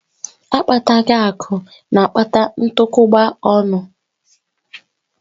Akpataghi akụ na-akpata ntukwuba ọnụ